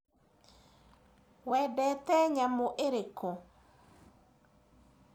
Wendete nyamũ irĩkũ